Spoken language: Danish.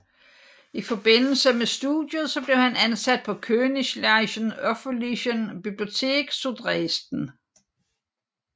I forbindelse med studiet blev han ansat på Königlichen Öffentlichen Bibliothek zu Dresden